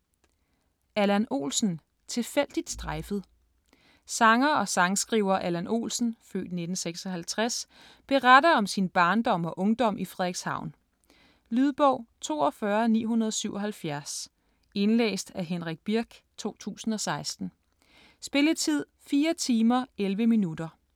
Olsen, Allan: Tilfældigt strejfet Sanger og sangskriver Allan Olsen (f. 1956) beretter om sin barndom og ungdom i Frederikshavn. Lydbog 42977 Indlæst af Henrik Birch, 2016. Spilletid: 4 timer, 11 minutter.